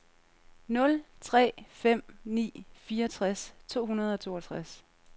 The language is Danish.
nul tre fem ni fireogtres to hundrede og toogtres